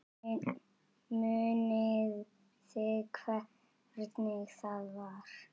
Munið þið hvernig það var?